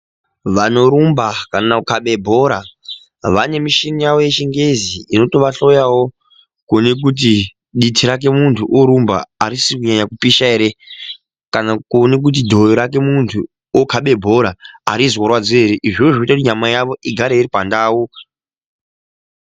Vanorumba kana kukabe bhora vane mushini yavo yechingezi inotova hloyiwa wo kuone kuti diti rake muntu orumba harisi kunyanyi pisha here kana kuona kuti dhoyo rake muntu okabe bhora harizorwadzi here izvozvo zvinoita kuti nyama dzavo dzigare dziri pandau.